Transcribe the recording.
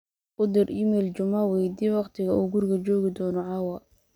u dir iimayl juma weydii wakhtiga uu guriga joogi doono caawa